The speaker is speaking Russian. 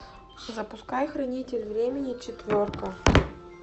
запускай хранитель времени четверка